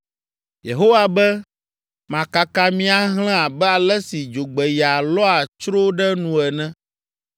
Yehowa be, “Makaka mi ahlẽ abe ale si dzogbeya lɔa tsro ɖe nu ene.